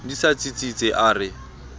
di sa tsitsitse a re